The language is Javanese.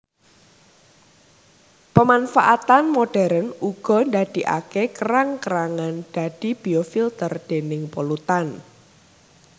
Pemanfaatan modern uga ndadikaké kerang kerangan dadi biofilter déning polutan